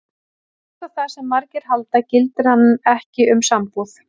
Þvert á það sem margir halda gildir hann ekki um sambúð.